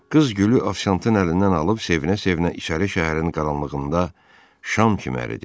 Qız gülü Avşantın əlindən alıb sevinə-sevinə işarə şəhərin qaranlığında şam kimi əridi.